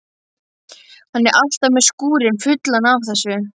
Hann er alltaf með skúrinn fullan af þessu.